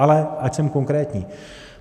Ale ať jsem konkrétní.